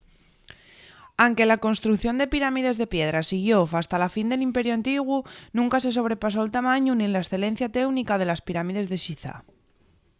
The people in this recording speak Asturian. anque la construcción de pirámides de piedra siguió fasta la fin del imperiu antiguu nunca se sobrepasó’l tamañu nin la escelencia teúnica de les pirámides de xizá